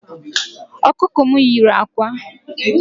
Okuko m yiri ákwà